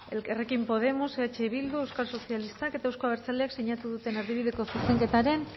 elkarrekin podemos eh bildu euskal sozialistak eta euzko abertzaleak sinatu duten erdibideko zuzenketaren